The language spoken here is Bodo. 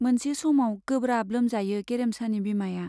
मोनसे समाव गोब्राब लोमजायो गेरेमसानि बिमाया।